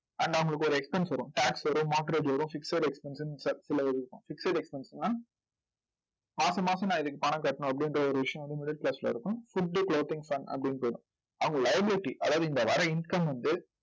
and அவங்களுக்கு ஒரு expense வரும் tax வரும் mortgage வரும் fixed expense ன்னு fixed expense ன்னா மாசாமாசம் நான் இதுக்கு பணம் கட்டணும் அப்படின்ற ஒரு விஷயம் வந்து middle class ல இருக்கும் food, clothing, fun அப்படின்னு போயிடும். அவங்க liability அதாவது இங்க வர்ற income வந்து